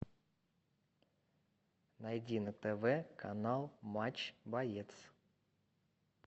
найди на тв канал матч боец